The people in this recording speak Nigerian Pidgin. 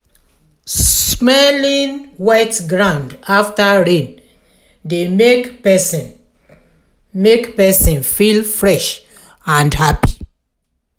smelling wet ground after rain dey make person make person feel fresh and happy.